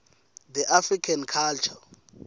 the african culture